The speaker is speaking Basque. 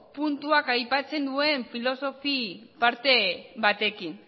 puntuak aipatzen duen filosofi parte batekin